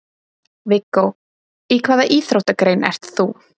Viggó: Í hvaða íþróttagrein ert þú?